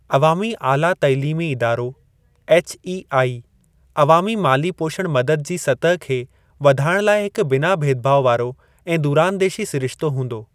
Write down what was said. अवामी आला तालीमी इदारो (एचईआई) अवामी माली पोषण मदद जी सतह खे वधाइण लाइ हिकु बिना भेदभाव वारो ऐं दूरांदेशी सिरिश्तो हूंदो।